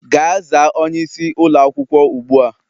Gaa zaa onyeisi ụlọ akwukwo ugbu a!